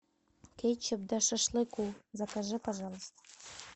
кетчуп для шашлыков закажи пожалуйста